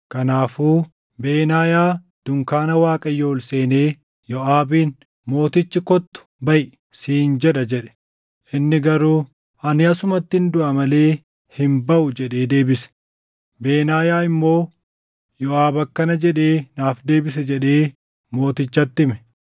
Kanaafuu Benaayaa dunkaana Waaqayyoo ol seenee Yooʼaabiin, “Mootichi, ‘Kottu baʼi!’ siin jedha” jedhe. Inni garuu, “Ani asumattin duʼa malee hin baʼu” jedhee deebise. Benaayaa immoo, “Yoʼaab akkana jedhee naaf deebise” jedhee mootichatti hime.